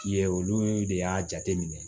Ye olu de y'a jate minɛ